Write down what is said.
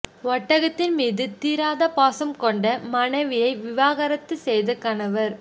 ஒட்டகத்தின் மீது தீராத பாசம் கொண்ட மனைவியை விவகாரத்து செய்த கணவர்